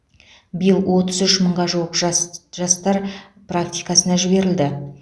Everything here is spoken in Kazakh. биыл отыз үш мыңға жуық жас жастар практикасына жіберілді